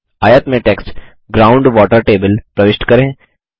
आयत में text ground water table प्रविष्ट करें